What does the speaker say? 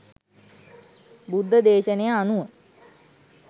බුද්ධ දේශනය අනුව